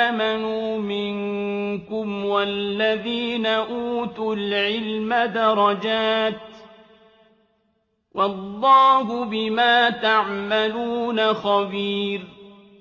آمَنُوا مِنكُمْ وَالَّذِينَ أُوتُوا الْعِلْمَ دَرَجَاتٍ ۚ وَاللَّهُ بِمَا تَعْمَلُونَ خَبِيرٌ